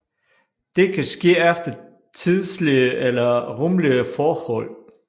Det kan ske efter tidslige eller rumlige forhold